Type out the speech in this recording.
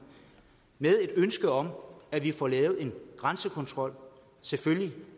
med et ønske om at vi får lavet en grænsekontrol selvfølgelig